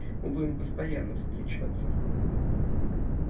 мы будем постоянно встречаться